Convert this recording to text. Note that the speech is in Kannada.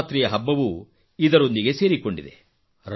ನವರಾತ್ರಿಯ ಹಬ್ಬವೂ ಇದರೊಂದಿಗೆ ಸೇರಿಕೊಂಡಿದೆ